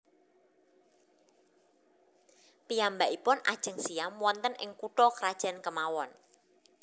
Piyambakipun ajeng siyam wonten ing kutha krajan kemawon